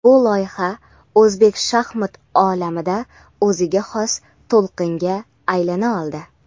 Bu loyiha O‘zbek shaxmat olamida o‘ziga xos to‘lqinga aylana oldi.